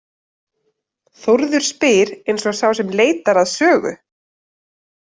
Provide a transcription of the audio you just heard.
Þórður spyr eins og sá sem leitar að sögu.